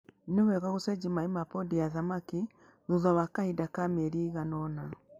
Nĩwega gũcenjia maĩ ma pondi ya thamaki thutha wa kahinda ka mĩeri ĩigana ũna.